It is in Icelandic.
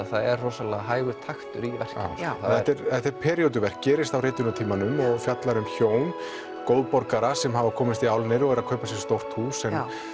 það er rosalega hægur taktur í verkinu já þetta er gerist á radiotímanum og fjallar um hjón sem hafa komist í álnir og eru að kaupa sér stórt hús